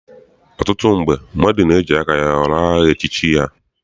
Ọtụtụ mgbe, mmadụ na-eji aka ya họrọ aha echichi ya.